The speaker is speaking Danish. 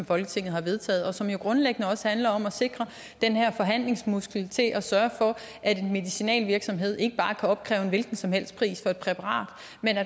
folketing har vedtaget og som jo grundlæggende også handler om at sikre at den her forhandlingsmuskel til at sørge for at en medicinalvirksomhed ikke bare kan opkræve en hvilken som helst pris for et præparat